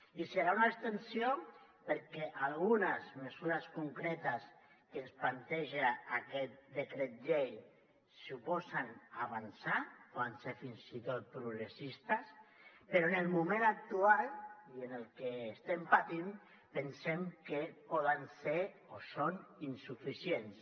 i serà una abstenció perquè algunes mesures concretes que ens planteja aquest decret llei suposen avançar poden ser fins i tot progressistes però en el moment actual i amb el que estem patint pensem que poden ser o són insuficients